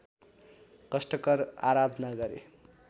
कष्टकर आराधना गरे